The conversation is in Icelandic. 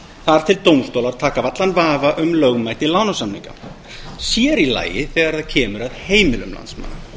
þar til dómstólar taka af allan vafa um lögmæti lánasamninga sér í lagi þegar kemur að heimilum landsmanna